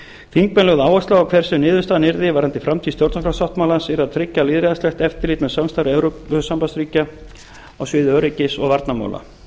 þingmenn lögðu áherslu á að hver sem niðurstaðan yrði varðandi framtíð stjórnarskrársáttmálans yrði að tryggja lýðræðislegt eftirlit með samstarfi evrópusambandsríkja á sviði öryggis og varnarmála